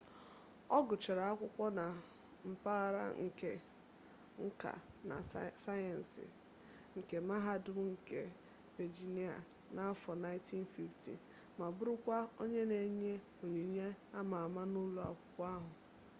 ọ gụchara akwụkwọ na mpaghara nke nka na sayensị nke mahadum nke vejinia n'afo 1950 ma bụrụkwa onye na enye onyinye ama ama n'ụlọ akwụkwọ ahụ